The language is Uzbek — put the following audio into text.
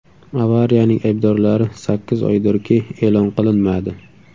Avariyaning aybdorlari sakkiz oydirki, e’lon qilinmadi.